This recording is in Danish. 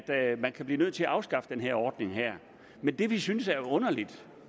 at man kan blive nødt til at afskaffe den her ordning men det vi synes er underligt